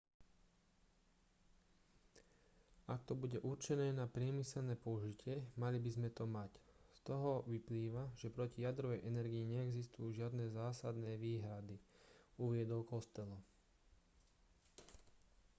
ak to bude určené na priemyselné použitie mali by sme to mať z toho vyplýva že proti jadrovej energii neexistujú žiadne zásadné výhrady uviedol costello